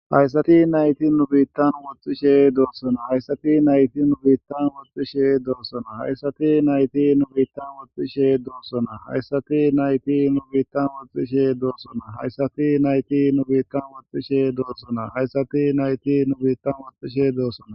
Hayssati nayti nu biittan woxxishe doossona hayssati nayti nu biittan woxxishe doossona hayssati nayti nu biittan woxxishe doossona hayssati nayti nu biittan woxxishe doossona hayssati nayti nu biittan woxxishe doossona hayssati nayti nu biittan woxxishe doossona.